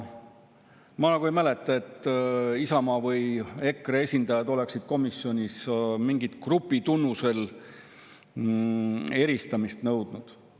Ma nagu ei mäleta, et Isamaa või EKRE esindajad oleksid komisjonis mingi grupitunnuse alusel eristamist nõudnud.